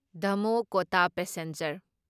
ꯗꯃꯣꯍ ꯀꯣꯇꯥ ꯄꯦꯁꯦꯟꯖꯔ